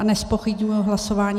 A nezpochybňuji hlasování.